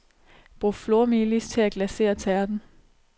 Brug flormelis til at glacere tærten.